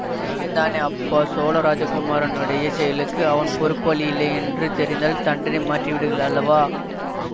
நிஜந்தானே அப்பா சோழ ராஜகுமாரனுடைய செயலுக்கு அவன் பொறுப்பாளி இல்லையென்று தெரிந்தால் தண்டனை மாற்றிடுகள் அல்லவா